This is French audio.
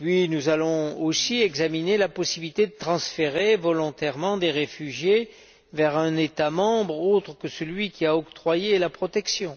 Nous allons aussi examiner la possibilité de transférer volontairement des réfugiés vers un État membre autre que celui qui a octroyé la protection.